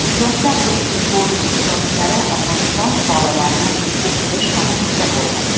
Yoshlar do‘stlik forumi ishtirokchilari Afg‘oniston fuqarolarini o‘qitish markazida bo‘ldi.